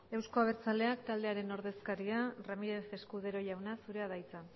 euzko abertzaleak taldearen ordezkaria ramirez escudero jauna zurea da hitza